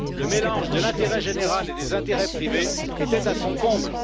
Le mélange de l'intérêt général et des intérêts privés était à son comble.